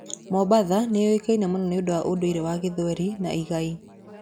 Mombasa nĩ yũĩkaine mũno nĩ ũndũ wa ũndũire wa gĩthweri na igai.